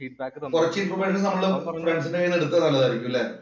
കൊറച്ചു ഇൻഫർമേഷൻ നമ്മള് ഫ്രണ്ട്സിന്‍റെ കൈയില്‍ നിന്ന് എടുത്തതായിരിക്കും അല്ലേ?